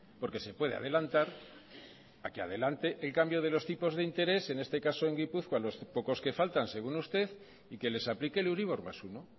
porque se puede adelantar a que adelante el cambio de los tipos de interés en este caso en gipuzkoa a los pocos que faltan según usted y que les aplique el euribor más uno